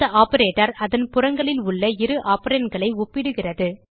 இந்த ஆப்பரேட்டர் அதன் புறங்களில் உள்ள இரு operandகளை ஒப்பிடுகிறது